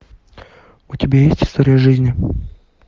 у тебя есть история жизни